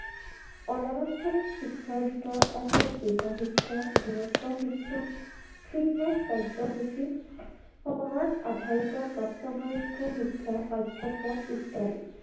অনানুষ্ঠানিক শিক্ষাৰ ভিতৰত আছে গৃহ শিক্ষা, দূৰত্ব শিক্ষা, fitness কাৰ্যসূচী। সমাজ আধাৰিত প্ৰাপ্তবয়স্ক শিক্ষা পাঠ্যক্ৰম ইত্যাদি